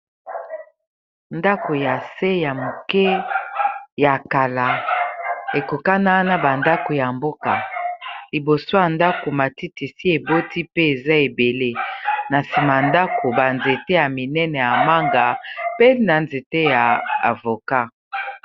Ndako ya se ya moke ya kala ekokana na ba ndako ya mboka liboso ya ndako matiti esi eboti pe eza ebele na nsima ndako ba nzete ya minene ya manga pe na nzete ya avocat.